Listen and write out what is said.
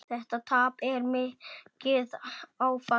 Þetta tap er mikið áfall.